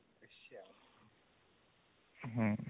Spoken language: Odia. ହୁଁ